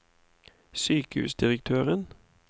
sykehusdirektøren